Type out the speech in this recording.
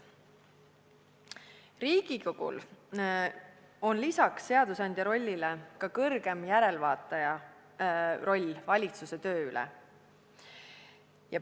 Riigikogul on peale seadusandja rolli ka kõrgeima järelevaataja roll valitsuse töö üle.